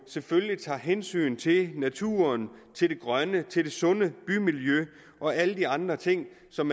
selvfølgelig tager hensyn til naturen til det grønne til det sunde bymiljø og alle andre ting som